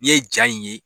N'i ye ja in ye